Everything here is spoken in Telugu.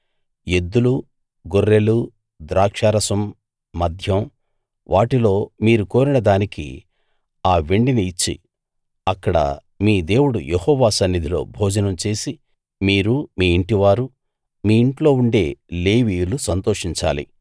ఎద్దులు గొర్రెలు ద్రాక్షారసం మద్యం వీటిలో మీరు కోరిన దానికి ఆ వెండిని ఇచ్చి అక్కడ మీ దేవుడు యెహోవా సన్నిధిలో భోజనం చేసి మీరు మీ ఇంటివారు మీ ఇంట్లో ఉండే లేవీయులు సంతోషించాలి